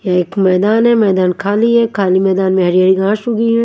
एक मैदान है मैदान खाली है खाली मैदान में हरि हरि घास उगी है।